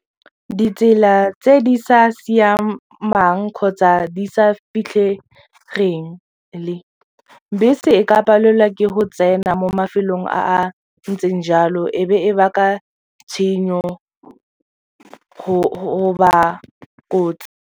Ditsela tse di sa siamang kgotsa di sa fitlhegeng, bese e ka palelwa ke go tsena mo mafelong a a ntseng jalo e be e baka tshenyo goba kotsi.